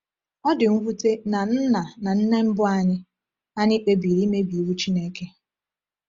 Ọ dị mwute na nna na nne mbụ anyị anyị kpebiri imebi iwu Chineke.